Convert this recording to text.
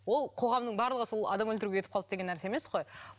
ол қоғамның барлығы сол адам өлтіруге кетіп қалды деген нәрсе емес қой